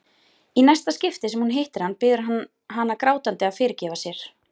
Í næsta skipti sem hún hittir hann biður hann hana grátandi að fyrirgefa sér.